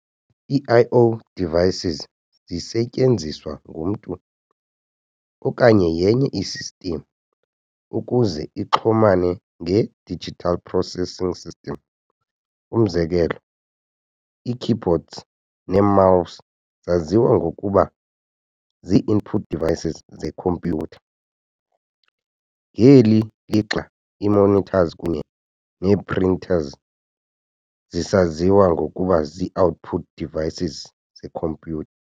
Ii-I-O devices zisetyenziswa ngumntu, okanye yenye i-system, ukuze ixhumane nge-digital processing system. Umzekelo, ii-keyboards nee-mouse zaziwa ngokuba zii-input devices zekhompyutha, ngeli lixa ii-monitors kunye nee-printers zisaziwa ngokuba zii-output devices zekhompyutha.